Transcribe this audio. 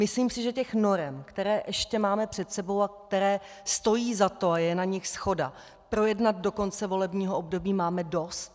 Myslím si, že těch norem, které ještě máme před sebou a které stojí za to, a je na nich shoda projednat do konce volebního období, máme dost.